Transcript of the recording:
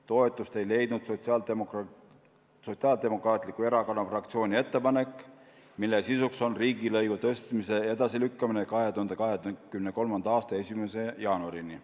Toetust ei leidnud Sotsiaaldemokraatliku Erakonna fraktsiooni ettepanek, mille sisu on riigilõivu tõstmise edasilükkamine 2023. aasta 1. jaanuarini.